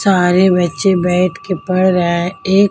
सारे बच्चे बैठ के पढ़ रहे हैं एक--